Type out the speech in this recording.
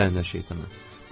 Lənətə gəlmiş şeytanı!